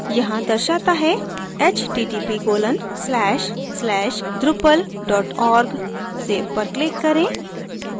यहाँ दर्शाता है